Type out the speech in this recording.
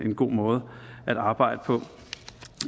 en god måde at arbejde på